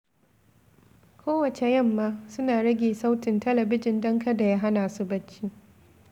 Kowacce yamma, suna rage sautin talabijin don kada ya hana su barci.